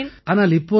ஆனால் இப்போது